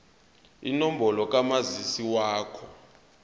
inombolo kamazisi wakho